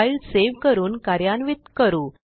file save करून कार्यान्वित करू